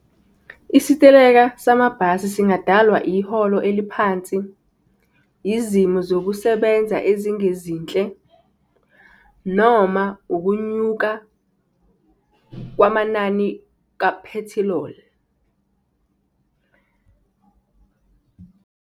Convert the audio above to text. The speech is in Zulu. Isiteleka samabhasi singadalwa iholo eliphansi, yizimo zokusebenza ezingezinhle, noma ukunyuka kwamanani kaphethiloli.